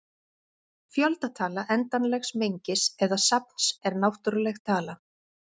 Fjöldatala endanlegs mengis eða safns er náttúruleg tala.